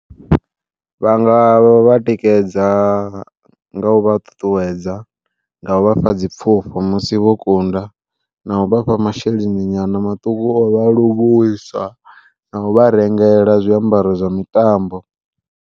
Vhanga vha tikedza nga u vha ṱuṱuwedza nga u vhafha dzi pfufho musi vho kunda, na u vhafha masheleni nyana maṱuku o vha a livhuwisa, na u vha rengela zwiambaro zwa mitambo.